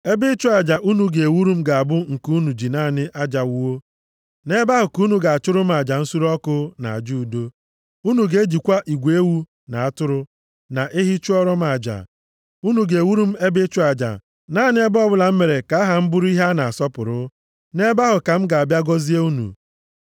“ ‘Ebe ịchụ aja unu ga-ewuru m ga-abụ nke unu ji naanị aja wuo. Nʼebe ahụ ka unu ga-achụrụ m aja nsure ọkụ na aja udo. Unu ga-ejikwa igwe ewu na atụrụ, na ehi chụọrọ m aja. Unu ga-ewuru m ebe ịchụ aja naanị ebe ọbụla m mere ka aha m bụrụ ihe a na-asọpụrụ, nʼebe ahụ ka m ga-abịa gọzie unu.